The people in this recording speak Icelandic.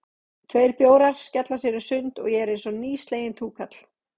Tveir bjórar, skella sér í sund, og ég var einsog nýsleginn túkall.